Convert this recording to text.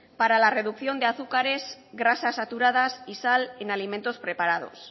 para la reducción de azúcares grasas saturadas y sal en alimentos preparados